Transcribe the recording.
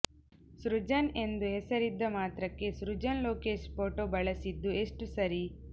ಸೃಜನ್ ಎಂದು ಹೆಸರಿದ್ದ ಮಾತ್ರಕ್ಕೆ ಸೃಜನ್ ಲೋಕೇಶ್ ಫೋಟೋ ಬಳಸಿದ್ದು ಎಷ್ಟು ಸರಿ